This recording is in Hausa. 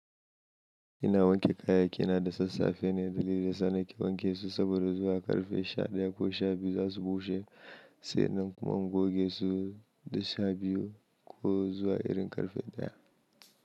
Ina wanke kayayyakina da sassafe ne dalili da yasa nake wanke su saboda zuwa ƙarfe sha daya ko sha biyu za su bushe. Sannan kuma in goge su da sha biyu ko zuwa irin ƙarfe daya.